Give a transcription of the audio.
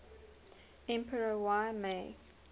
emperor y mei